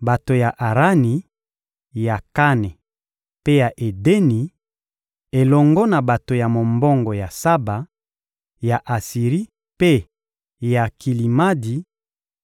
Bato ya Arani, ya Kane mpe ya Edeni, elongo na bato ya mombongo ya Saba, ya Asiri mpe ya Kilimadi,